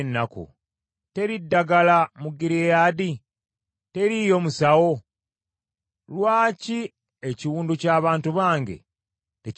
Teri ddagala mu Gireyaadi? Teriiyo musawo? Lwaki ekiwundu ky’abantu bange tekiwonyezebwa?